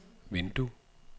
vindue